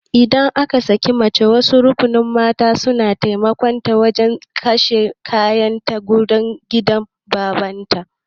Idan aka sake mace wasu rukunin mata suna taimaka mata wajan kwashe kayan ta zuwa gidan babanta